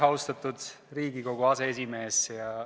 Austatud Riigikogu aseesimees!